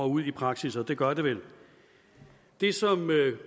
ud i praksis og det gør de vel det som